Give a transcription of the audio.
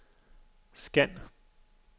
scan